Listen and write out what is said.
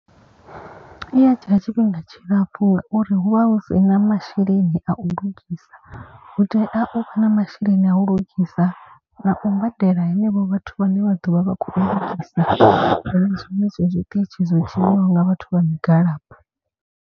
I ya dzhia tshifhinga tshilapfhu ngauri hu vha hu si na masheleni a u lugisa. Hu tea u vha na masheleni a u lugisa na u badela henevho vhathu vhane vha ḓovha vha kho lugisa. Hu shumiswe zwiṱitshi zwo tshinyiwaho nga vhathu vha migwalabo.